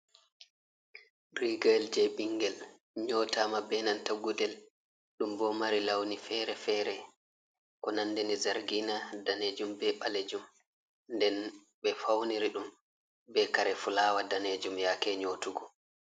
Rigayel je ɓingel nyotama benanta gudel, ɗum bo mari launi fere-fere ko nandini zargina danejum be ɓalejum, nden ɓe fauniri ɗum be kare fulawa danejum yake nyotugo.